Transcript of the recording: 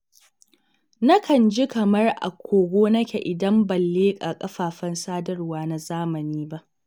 Nakan ji kamar a kogo nake idan ban leƙa kafafen sadarwa na zamani ba.